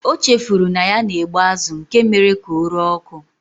O chefuru na ya na-egbe azụ nke mere ka ọ ree ọkụ.